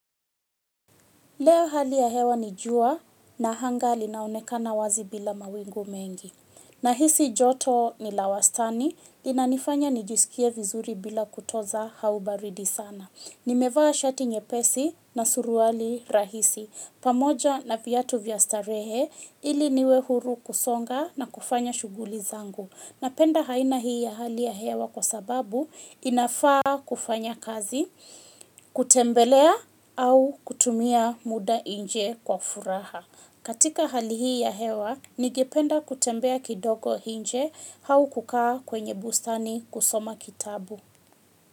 Leo hali ya hewa ni jua na anga linaonekana wazi bila mawingu mengi. Nahisi joto ni la wastani, linanifanya nijisikie vizuri bila kutoza au baridi sana. Nimevaa shati nyepesi na suruali rahisi, pamoja na viatu vya starehe, ili niwe huru kusonga na kufanya shughuli zangu. Napenda aina hii ya hali ya hewa kwa sababu inafaa kufanya kazi, kutembelea au kutumia muda nje kwa furaha. Katika hali hii ya hewa, ningependa kutembea kidogo nje au kukaa kwenye busani kusoma kitabu.